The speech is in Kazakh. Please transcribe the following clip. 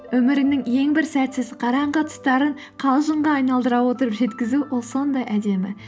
өміріңнің ең бір сәтсіз қараңғы тұстарын қалжыңға айналдыра отырып жеткізу ол сондай әдемі